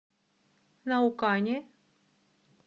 наукане